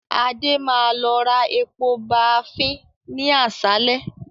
Adé máa lọ ra epo baafín ni àsálẹ́